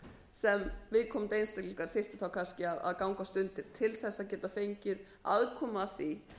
sem viðkomandi einstaklingar þyrftu þá kannski að gangast undir til þess að geta fengið aðkomu að því